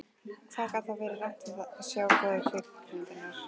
Hvað gat þá verið rangt við að sjá góðar kvikmyndir?